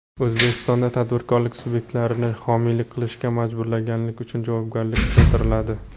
O‘zbekistonda tadbirkorlik subyektlarini homiylik qilishga majburlaganlik uchun javobgarlik kuchaytiriladi.